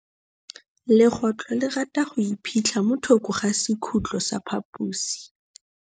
Legôtlô le rata go iphitlha mo thokô ga sekhutlo sa phaposi.